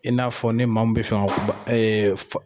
I n'a fɔ ni maa min bi fɛ